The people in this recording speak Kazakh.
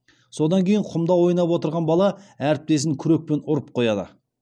содан кейін құмда ойнап отырған бала әріптесін күрекпен ұрып қояды